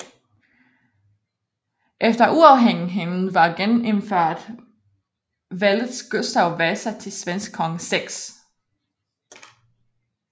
Efter uafhængigheden var genindført valgtes Gustav Vasa til svensk konge 6